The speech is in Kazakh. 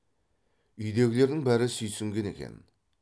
үйдегілердің бәрі сүйсінген екен